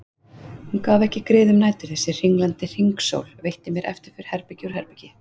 Hún gaf ekki grið um nætur þessi hringlandi hringsól, veitti mér eftirför herbergi úr herbergi.